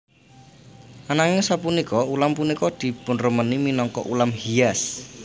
Ananging sapunika ulam punika dipunremeni minangka ulam hias